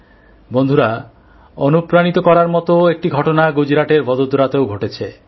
বন্ধুরা অনুপ্রাণিত করার মত একটি ঘটনা গুজরাটের ভোদোদারাতেও ঘটেছে